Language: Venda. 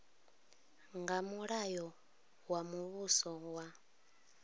nga mulayo wa muvhuso wa